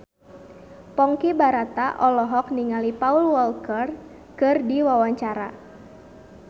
Ponky Brata olohok ningali Paul Walker keur diwawancara